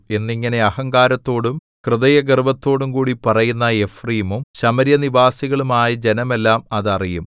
എന്നിങ്ങനെ അഹങ്കാരത്തോടും ഹൃദയഗർവ്വത്തോടുംകൂടി പറയുന്ന എഫ്രയീമും ശമര്യനിവാസികളുമായ ജനമെല്ലാം അത് അറിയും